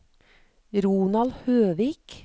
Ronald Høvik